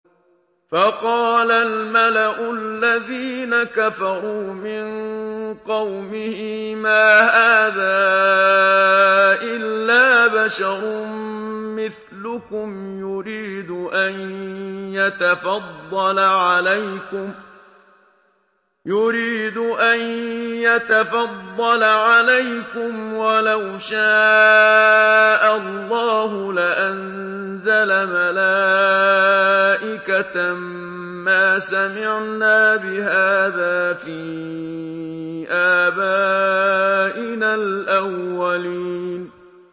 فَقَالَ الْمَلَأُ الَّذِينَ كَفَرُوا مِن قَوْمِهِ مَا هَٰذَا إِلَّا بَشَرٌ مِّثْلُكُمْ يُرِيدُ أَن يَتَفَضَّلَ عَلَيْكُمْ وَلَوْ شَاءَ اللَّهُ لَأَنزَلَ مَلَائِكَةً مَّا سَمِعْنَا بِهَٰذَا فِي آبَائِنَا الْأَوَّلِينَ